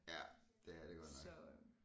Ja det er det godt nok